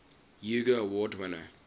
hugo award winner